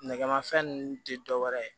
Nɛgɛmafɛn ninnu te dɔwɛrɛ ye